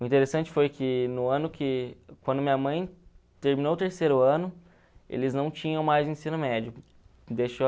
O interessante foi que no ano que, quando minha mãe terminou o terceiro ano, eles não tinham mais ensino médio.